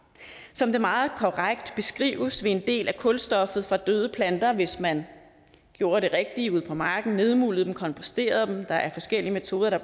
som det meget korrekt beskrives vil en del af kulstoffet fra døde planter hvis man gjorde det rigtige ude på marken nedmuldede dem komposterede dem der er forskellige metoder der